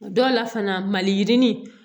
Dɔw la fana maliyirini